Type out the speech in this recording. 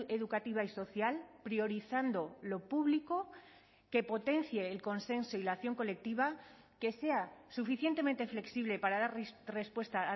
educativa y social priorizando lo público que potencie el consenso y la acción colectiva que sea suficientemente flexible para dar respuesta